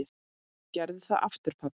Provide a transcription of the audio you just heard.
Gerðu það aftur pabbi!